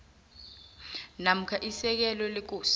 namkha isekela lekosi